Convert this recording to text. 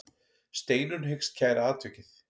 Steinunn hyggst kæra atvikið.